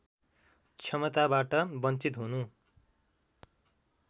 क्षमताबाट वञ्चित हुनु